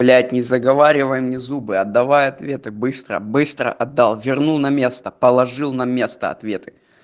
блять не заговаривай мне зубы отдавай ответы быстро быстро отдал верну на место положил на место ответы